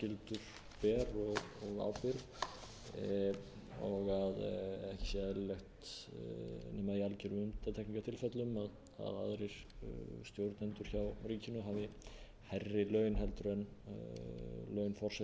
starfsskyldur ber og ábyrgð og ekki sé eðlilegt nema í algerum undantekningartilfellum að aðrir stjórnendur hjá ríkinu hafi hærri laun